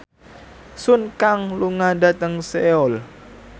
Sun Kang lunga dhateng Seoul